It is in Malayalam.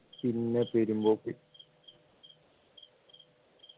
പിന്നെ പെരുമ്പോക്ക്